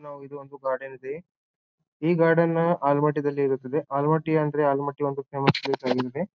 ನಾವು ಇದು ಒಂದು ಗಾರ್ಡನ್ ಇದೆ ಈ ಗಾರ್ಡನ್ ನ ಆಲಮಟ್ಟಿದಲ್ಲಿ ಇರುತ್ತದೆ ಆಲಮಟ್ಟಿ ಅಂದ್ರೆ ಆಲಮಟ್ಟಿ ಒಂದು ಫೇಮಸ್ ಪ್ಲೇಸ್ ಆಗಿರುತ್ತದೆ.